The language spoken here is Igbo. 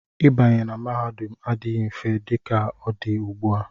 Ịbanye na mahadum adịghị mfe dị ka ọ dị ugbu a.